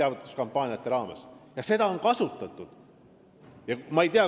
Seda võimalust on kasutatud.